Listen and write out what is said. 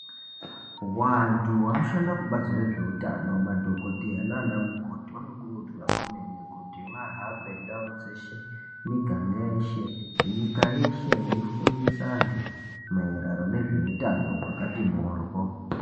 Vantu vanodhanda kubaxi rezveutano madhokodheya nana mukoti vanokurudzirwa kuti vahambe ndau dzeshe miganga yeshe nyika yeshe veifundise antu maerera nezve utano hwakati moryo.